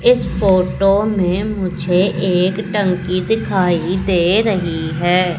इस फोटो में मुझे एक टंकी दिखाई दे रही है।